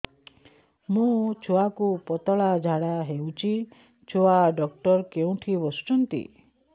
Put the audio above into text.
ମୋ ଛୁଆକୁ ପତଳା ଝାଡ଼ା ହେଉଛି ଛୁଆ ଡକ୍ଟର କେଉଁଠି ବସୁଛନ୍ତି